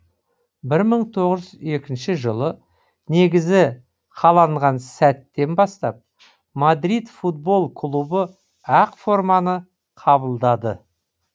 бір мың тоғыз жүз екінші жылы негізі қаланған сәттен бастап мадрид футбол клубы ақ форманы қабылдады